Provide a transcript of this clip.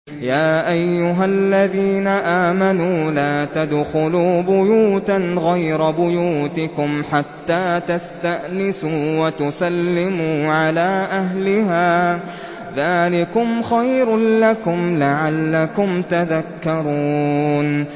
يَا أَيُّهَا الَّذِينَ آمَنُوا لَا تَدْخُلُوا بُيُوتًا غَيْرَ بُيُوتِكُمْ حَتَّىٰ تَسْتَأْنِسُوا وَتُسَلِّمُوا عَلَىٰ أَهْلِهَا ۚ ذَٰلِكُمْ خَيْرٌ لَّكُمْ لَعَلَّكُمْ تَذَكَّرُونَ